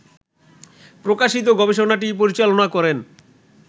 প্রকাশিত গবেষণাটি পরিচালনা করেন